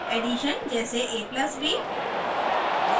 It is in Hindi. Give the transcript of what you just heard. + ऐडीशन: जैसे a+b